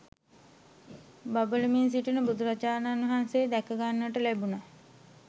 බබලමින් සිටින බුදුරජාණන් වහන්සේ දැක ගන්නට ලැබුණා.